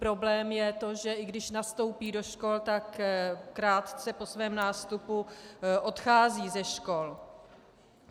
Problém je to, že i když nastoupí do škol, tak krátce po svém nástupu odcházejí ze škol.